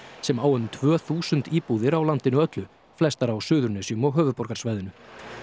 sem á um tvö þúsund íbúðir á landinu öllu flestar á Suðurnesjum og höfuðborgarsvæðinu